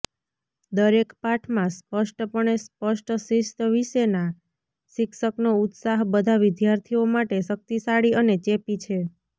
દરેક પાઠમાં સ્પષ્ટપણે સ્પષ્ટ શિસ્ત વિશેના શિક્ષકનો ઉત્સાહ બધા વિદ્યાર્થીઓ માટે શક્તિશાળી અને ચેપી છે